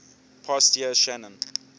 past year shannon